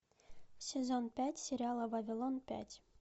сезон пять сериала вавилон пять